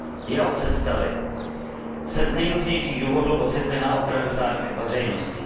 Jeho představy se z nejrůznějších důvodů ocitly na okraji zájmu veřejnosti.